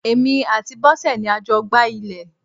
Èmi àti Bosẹ̀ ni a jọ gbá ilẹ̀.